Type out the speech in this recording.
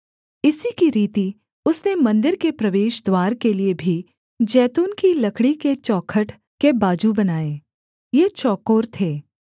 इसी की रीति उसने मन्दिर के प्रवेशद्वार के लिये भी जैतून की लकड़ी के चौखट के बाजू बनाए ये चौकोर थे